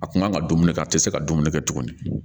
A kun kan ka dumuni kɛ a tɛ se ka dumuni kɛ tuguni